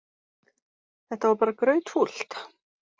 Þetta var bara grautfúlt.